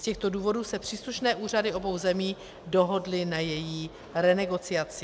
Z těchto důvodů se příslušné úřady obou zemí dohodly na její renegociaci.